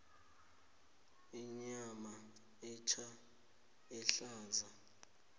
inyama etja ehlaza